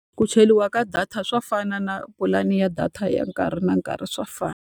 Ku cheriwa ka data swa fana na pulani ya data ya nkarhi na nkarhi swa fana.